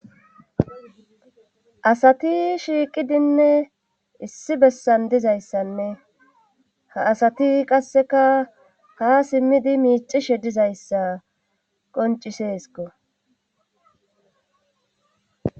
asati shiiqidinne issi bessan dizayssanne ha asati qasseka ha simmidi miicishe dizayssa qonciseesko